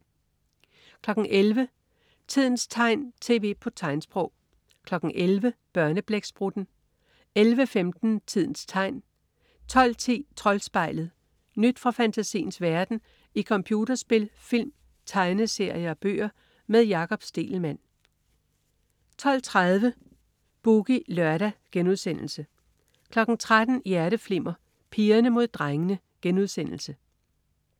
11.00 Tidens tegn, tv på tegnsprog 11.00 Børneblæksprutten 11.15 Tidens Tegn 12.10 Troldspejlet. Nyt fra fantasiens verden i computerspil, film, tegneserier og bøger. Med Jakob Stegelmann 12.30 Boogie Lørdag* 13.00 Hjerteflimmer: Pigerne mod drengene*